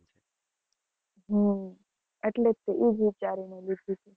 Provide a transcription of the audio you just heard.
હમ એટલે જ તે, ઈ જ વિચારીને લીધું.